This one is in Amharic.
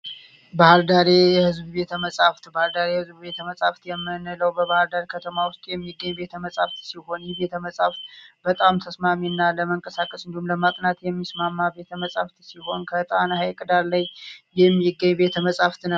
ባህርዳር የህዝብ ቤተመፃህፍት ባህር ዳር የህዝብ ቤተመጻሕፍት የምንለው በባህር ዳር ከተማ ውስጥ የሚገኝ ሲሆን ይህ ቤተ መጻሕፍት በጣም ተስማሚና እንደውም ለመንቀሳቀስ በጣም የሚስማማ ቤተ መጻሕፍት ሲሆን ከጣና ሀይቅ ዳር ላይ የሚገኝ ቤተመፃሕፍት ነው።